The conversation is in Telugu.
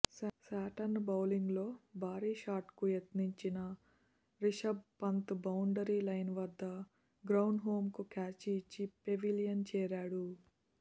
శాంట్నర్ బౌలింగ్లో భారీ షాట్కు యత్నించిన రిషభ్ పంత్ బౌండరీ లైన్ వద్ద గ్రాండ్హోమ్కు క్యాచ్ ఇచ్చి పెవిలియన్ చేరాడు